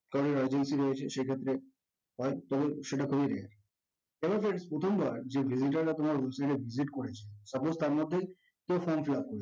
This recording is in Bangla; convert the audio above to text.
সেক্ষত্রে তারপর ও সেটা খুব ই rare কারণ friends প্রথমবার যে digital এ আপনারা visit করেছেন suppose তার মধ্যেই